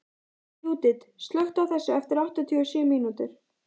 Júdit, slökktu á þessu eftir áttatíu og sjö mínútur.